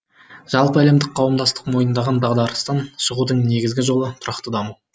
жалпы әлемдік қауымдастық мойындаған дағдарыстан шығудыңнегізгі жолы тұрақты даму